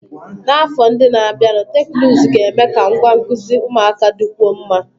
N'afọ ndị na-abịanụ, teknụzụ ga-eme ka ngwa nkuzi ụmụaka dịkwuo mma